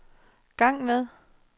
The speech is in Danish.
gang med